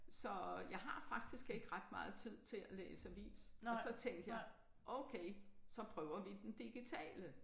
Så jeg har faktisk ikke ret meget tid til at læse avis og så tænkte jeg okay så prøver vi den digitale